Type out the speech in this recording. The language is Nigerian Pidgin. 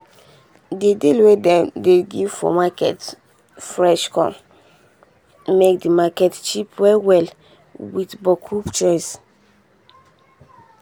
the deal wey dem dey give for market fresh con make di market cheap well well with boku choice.